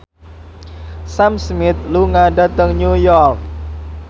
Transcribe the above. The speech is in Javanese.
Sam Smith lunga dhateng New York